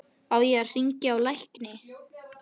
Á ég að hringja á lækni?